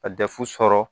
Ka dɛsɛ sɔrɔ